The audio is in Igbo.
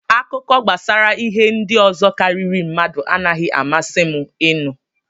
Akụkọ gbasara ihe ndị ọzọ karịrị mmadụ anaghị amasị m inu.